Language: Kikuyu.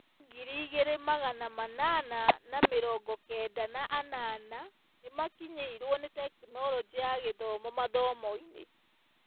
Arutwo ngiri igĩrĩ magana manana na mirongo kenda na anana nĩmakinyĩirwo nĩ Tekinoronjĩ ya Githomo mathomo-inĩ